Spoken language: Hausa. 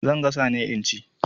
Zan gasa ne in ci.